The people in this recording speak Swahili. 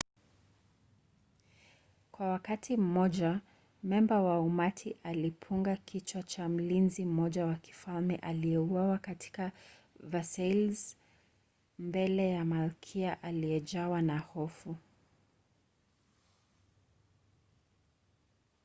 kwa wakati mmoja memba wa umati alipunga kichwa cha mlinzi mmoja wa kifalme aliyeuawa katika versailles mbele ya malkia aliyejawa na hofu